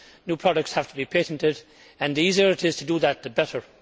New products have to be patented, and the easier it is to do that, the better.